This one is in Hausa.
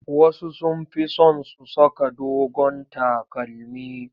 Wasu sun fi son su saka dogon takalmi.